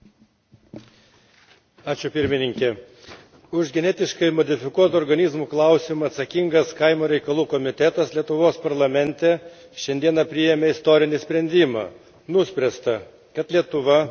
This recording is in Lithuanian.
Už genetiškai modifikuotų organizmų klausimą atsakingas Kaimo reikalų komitetas Lietuvos parlamente šiandien priėmė istorinį sprendimą nuspręsta, kad Lietuva pasinaudodama Europos Sąjungos direktyva Nr.